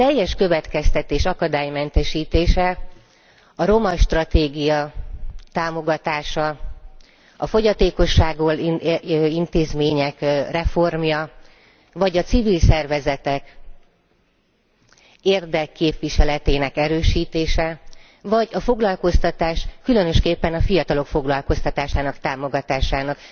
A teljes, következetes akadálymentesítésben, a roma stratégia támogatásában, a fogyatékossággal élők intézményeinek reformjában, a civil szervezetek érdekképviseletének erősítésében, vagy a foglalkoztatás, különösképpen a fiatalok foglalkoztatásának támogatásában